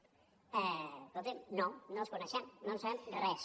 escolti’m no no els coneixem no en sabem res